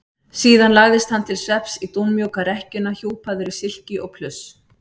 Síðan lagðist hann til svefns í dúnmjúka rekkjuna hjúpaður í silki og pluss.